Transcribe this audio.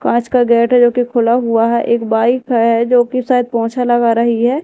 कांच का गेट है जो कि खुला हुआ है एक वाइफ है जो कि शायद पोछा लगा रही है।